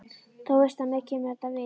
Þú veist að mér kemur þetta við.